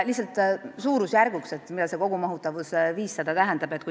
Lihtsalt suurusjärgu näitamiseks toon ka näite, mida see kogumahutavus 500 tähendab.